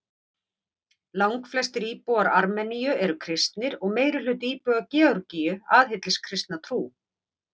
Langflestir íbúar Armeníu eru kristnir og meirihluti íbúa Georgíu aðhyllist kristna trú.